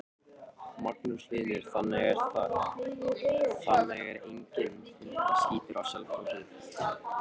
Magnús Hlynur: Þannig að það er enginn hundaskítur á Selfossi?